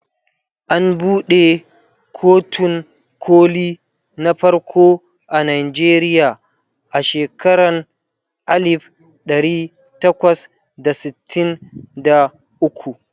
an buɗe kotun koli na farko a Nigeria a shekaran alif ɗari takwas da sittin da ukwu